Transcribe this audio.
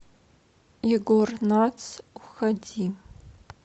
егор натс уходи